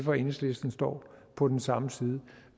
og enhedslisten står på den samme side